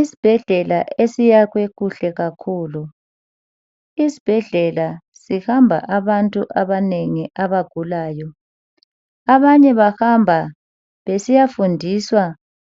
isibhedlela esiyakhwe kuhle kakhulu isibhedlela sihamba abantu abanengi abagulayo abanye bahamba besiyafundiswa